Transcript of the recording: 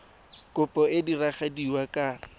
kopo e e diragadiwa ka